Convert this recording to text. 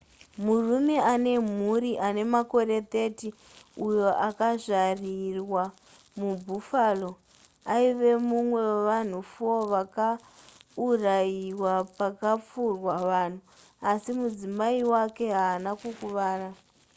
murume ane mhuri ane makore 30 uyo akazvarirwa mubuffalo aive mumwe wevanhu 4 vakaurayiwa pakapfurwa vanhu asi mudzimai wake haana kukuvara